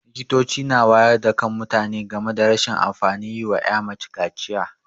Likitoci na wayar da kan mutane game rashin amfanin yi wa 'ya mace kaciya.